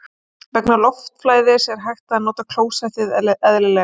Vegna loftflæðis er hægt að nota klósettið eðlilega.